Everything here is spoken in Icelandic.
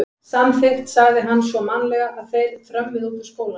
Samþykkt sagði hann svo mannalega og þeir þrömmuðu út úr skólanum.